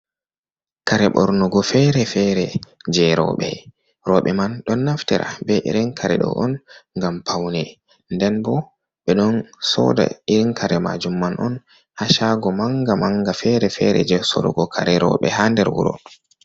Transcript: Kare bornugo fere-fere, je roube, roube man ɗon naftira be irin kare do on ngam paune. ndenbo ɓe ɗon sodaa irin kare maajum man on ha shaago manga manga fere fere je sorugo kare roube ha der wuuro.